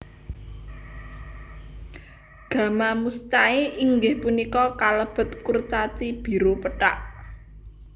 Gamma Muscae inggih punika kalebet kurcaci biru pethak